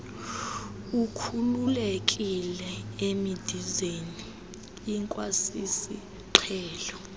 ukhululekile emidizeni ikwasisiqhelo